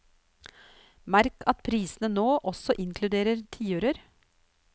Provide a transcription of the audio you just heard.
Merk at prisene nå også inkluderer tiører.